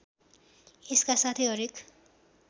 यसका साथै हरेक